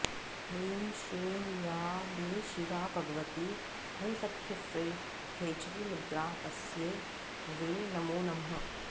ह्रीं श्रीं या वै शिवा भगवती ह्स्ख्फ्रें खेचरीमुद्रा तस्यै वै नमो नमः